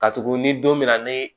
Ka tugu ni don mi na ni